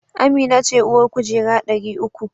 Amina ce uwar kujera dari uku